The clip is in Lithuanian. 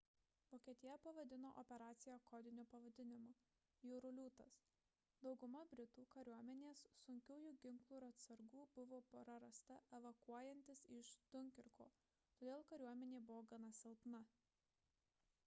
vokietija pavadino operaciją kodiniu pavadinimu jūrų liūtas dauguma britų kariuomenės sunkiųjų ginklų ir atsargų buvo prarasta evakuojantis iš dunkirko todėl kariuomenė buvo gana silpna